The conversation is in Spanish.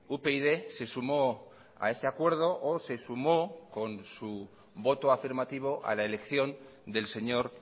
upyd se sumó a ese acuerdo o se sumó con su voto afirmativo a la elección del señor